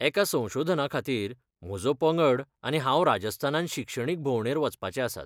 एका संशोधनाखातीर म्हजो पंगड आनी हांव राजस्थानांत शिक्षणीक भोंवडेर वचपाचे आसात.